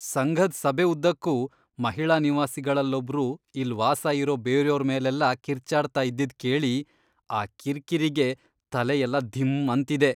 ಸಂಘದ್ ಸಭೆ ಉದ್ದಕ್ಕೂ ಮಹಿಳಾ ನಿವಾಸಿಗಳಲ್ಲೊಬ್ರು ಇಲ್ಲ್ ವಾಸ ಇರೋ ಬೇರ್ಯೋರ್ ಮೇಲೆಲ್ಲ ಕಿರ್ಚಾಡ್ತಾ ಇದ್ದಿದ್ ಕೇಳಿ ಆ ಕಿರ್ಕಿರಿಗೆ ತಲೆಯೆಲ್ಲ ಧಿಂ ಅಂತಿದೆ.